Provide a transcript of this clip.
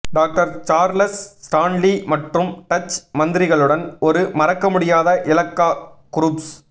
doctor Charles Stanley மற்றும் Dutch மந்திரிகளுடன் ஒரு மறக்க முடியாத இலாக்கா குரூஸ்